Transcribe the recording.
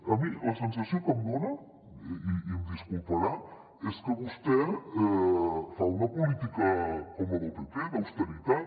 a mi la sensació que em dona i em disculparà és que vostè fa una política com la del pp d’austeritat